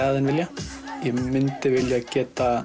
en vilja ég myndi vilja geta